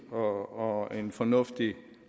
og som en fornuftig